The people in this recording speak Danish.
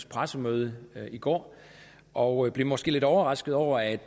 pressemøde i går og blev måske lidt overrasket over at